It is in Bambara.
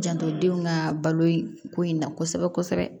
Janto denw ka balo in ko in na kosɛbɛ kosɛbɛ